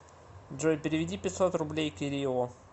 джой переведи пятьсот рублей кириллу